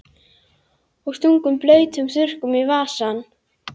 Og stungum blautum þurrkunum í vasann.